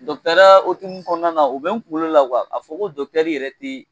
okumu kɔnɔna na u bɛ n kunkolo la a fɔ ko yɛrɛ te